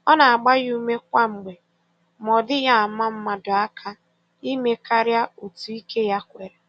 Ọ na-agba ya ume kwa mgbe, ma ọ dịghị ama mmadụ aka ime karịa otu ike ya kwere.